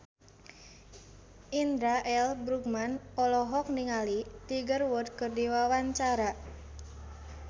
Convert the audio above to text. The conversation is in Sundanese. Indra L. Bruggman olohok ningali Tiger Wood keur diwawancara